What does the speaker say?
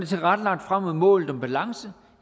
tilrettelagt frem mod målet om balance